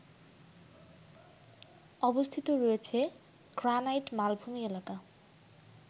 অবস্থিত রয়েছে গ্রানাইট মালভূমি এলাকা